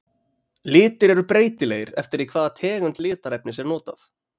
Litir eru breytilegir eftir því hvaða tegund litarefnis er notað.